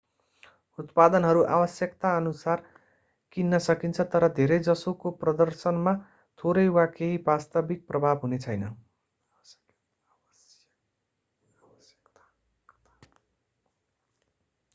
उत्पादनहरू आवश्यकताअनुसार किन्न सकिन्छ तर धेरैजसोको प्रदर्शनमा थोरै वा केही वास्तविक प्रभाव हुनेछैन